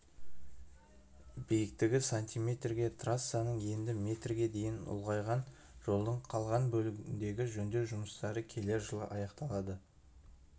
биіктігі сантиметрге трассаның ені метрге дейін ұлғайған жолдың қалған бөлігіндегі жөндеу жұмыстары келер жылы аяқталады